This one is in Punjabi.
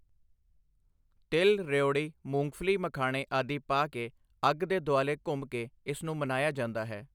ਤਿਲ ਰਿਊੜੀ ਮੂੰਗਫਲੀ ਮਖਾਣੇ ਆਦਿ ਪਾ ਕੇ ਅੱਗ ਦੇ ਦੁਆਲੇ ਘੁੰਮ ਕੇ ਇਸ ਨੂੰ ਮਨਾਇਆ ਜਾਂਦਾ ਹੈ।